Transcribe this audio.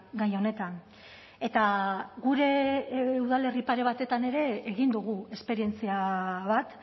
gai honetan eta gure udalerri pare batetan ere egin dugu esperientzia bat